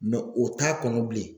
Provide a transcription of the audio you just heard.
o t'a kɔnɔ bilen